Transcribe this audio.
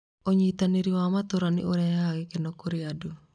Ũnyitanĩri wa matũũra nĩ ũrehaga gĩkeno kũrĩ andũ.